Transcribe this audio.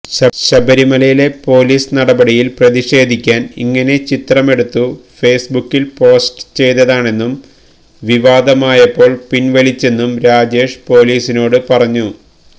ശബരിമലയിലെ പൊലീസ് നടപടിയിൽ പ്രതിഷേധിക്കാൻ ഇങ്ങനെ ചിത്രമെടുത്തു ഫേസ്ബുക്കിൽ പോസ്റ്റ് ചെയ്തതാണെന്നും വിവാദമായപ്പോൾ പിൻവലിച്ചെന്നും രാജേഷ് പൊലീസിനോട് പറഞ്ഞു